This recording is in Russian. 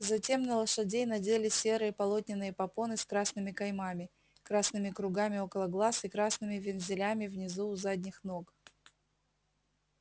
затем на лошадей надели серые полотняные попоны с красными каймами красными кругами около глаз и красными вензелями внизу у задних ног